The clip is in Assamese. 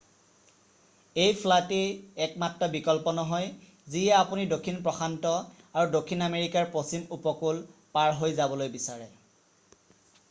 এই ফ্লাইটেই একমাত্ৰ বিকল্প নহয় যদিহে আপুনি দক্ষিণ প্ৰশান্ত আৰু দক্ষিণ আমেৰিকাৰ পশ্চিম উপকূল পাৰ হৈ যাবলৈ বিচাৰে৷ তলত চাওঁক